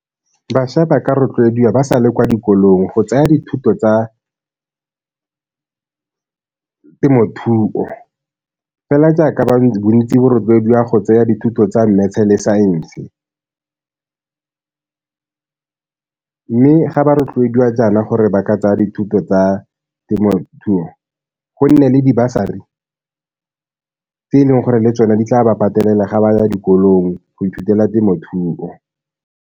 Bašwa ba ka rotloediwa ba sa le kwa dikolong go tsaya dithuto tsa temothuo fela jaaka bontsi bo rotloediwa go tsaya dithuto tsa mmetse le saense mme ga ba rotloediwa jaana gore ba ka tsaya dithuto tsa temothuo, go nne le dibasari tse e leng gore le tsone di tla ba patelela ga ba ya dikolong go ithutela temothuo.